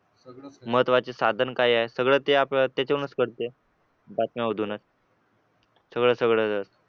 महत्त्वाचे साधन काय आहे सगळ्या ते आपल्याला त्याच्यावर कळतं बातम्यांमधून च सगळं सगळं